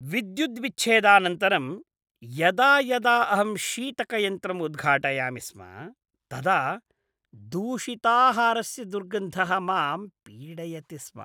विद्युद्विच्छेदानन्तरं यदा यदा अहं शीतकयन्त्रम् उद्घाटयामि स्म, तदा दूषिताहारस्य दुर्गन्धः मां पीडयति स्म।